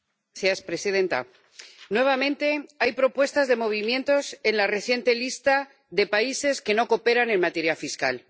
Señora presidenta, nuevamente hay propuestas de movimientos en la reciente lista de países que no cooperan en materia fiscal